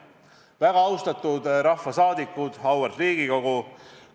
Väga austatud rahvasaadikud, auväärt Riigikogu!